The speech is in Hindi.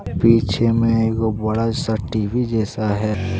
पीछे में एगो बड़ा सा टी_वी जैसा है।